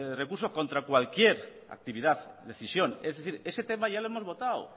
recurso contra cualquier actividad decisión es decir ese tema ya lo hemos votado